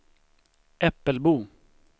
Äppelbo